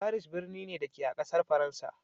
Paris birni ne, da ke a ƙasar Faransa.